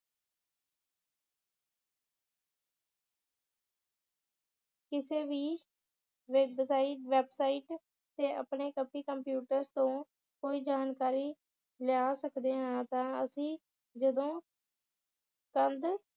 ਕਿਸੇ ਵੀ website~ website ਤੇ ਆਪਣੇ computers ਤੋਂ ਕੋਈ ਜਾਣਕਾਰੀ ਲਿਆ ਸਕਦੇ ਹਾਂ ਤਾਂ ਅਸੀਂ ਜਦੋਂ